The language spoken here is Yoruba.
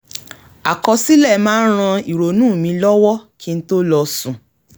àkọsílẹ̀ máa ń ran ìrònú mi lọ́wọ́ kí n tó lọ sùn